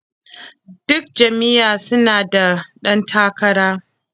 Duk jam'iyya su na da ɗan takara.